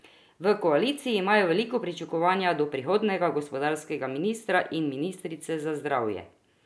V koaliciji imajo velika pričakovanja do prihodnjega gospodarskega ministra in ministrice za zdravje.